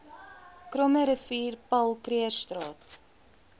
krommerivier paul krugerstraat